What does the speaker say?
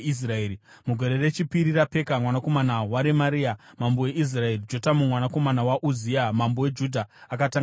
Mugore rechipiri raPeka mwanakomana waRemaria mambo weIsraeri, Jotamu mwanakomana waUzia mambo weJudha akatanga kutonga.